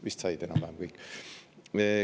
Vist said enam-vähem kõik.